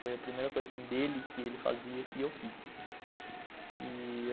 Foi a primeira coisa assim dele que ele fazia que eu fiz.